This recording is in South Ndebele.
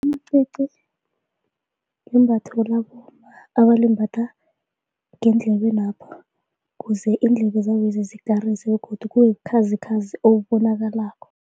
Amacici yimbatho labomma abalimbatha ngendlebenapha kuze iindlebezabezi zikarise begodu kube bukhazikhazi obubonakalako.